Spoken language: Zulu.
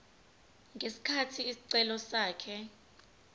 ngesikhathi isicelo sakhe